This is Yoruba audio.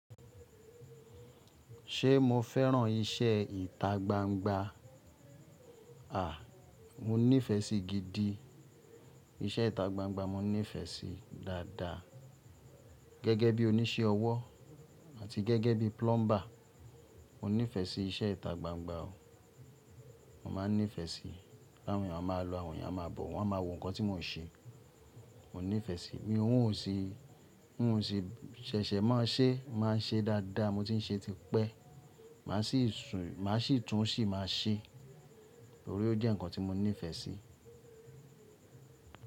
Ṣé mo fẹ́ràn iṣẹ́ ìta gbangba? Mo nífẹ̀ sí gidi iṣẹ́ ìta gbangba mo nífẹ̀ẹ́ sí i dáadáa. Gẹ́gẹ́ bí o ní ṣe ọwọ́ àti gẹ́gẹ́ bí pulumba mo nífẹ̀ sí iṣẹ́ ìta gbangba o. Mo máa nífẹ̀ẹ́ sí i. Láwọn èèyàn máa lọ, àwọn èèyàn máa bọ̀, wọ́n a máa wò nǹkan tí mò ń ṣe. Mo nífẹ̀ẹ́ sí i. Mi ò ún ṣe, n òún ṣe ṣẹ̀ṣẹ̀ má ṣe, máa ṣe dáadáa. Mo tí ń ṣe ti pẹ́. Màá sì tún sì máa ṣe. Nítorí o jẹ́ nǹkan tí mo nífẹ̀ẹ́ sí i.